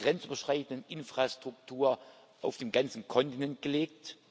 grenzüberschreitenden Infrastruktur auf dem ganzen Kontinent gelegt.